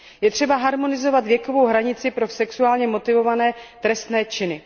Je třeba harmonizovat věkovou hranici pro sexuálně motivované trestné činy.